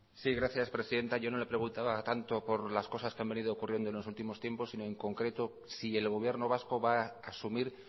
sí gracias presidenta yo no le preguntaba tanto por las cosas que han venido ocurriendo en los últimos tiempos sino en concreto si el gobierno vasco va a asumir